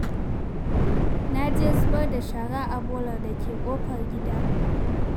Na je zubar da shara a bolar da ke ƙofar gida.